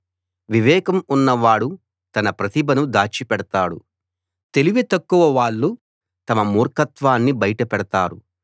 వివేకం ఉన్నవాడు తన ప్రతిభను దాచిపెడతాడు తెలివితక్కువ వాళ్ళు తమ మూర్ఖత్వాన్ని బయట పెడతారు